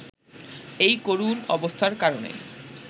এই করুণ অবস্থার কারণে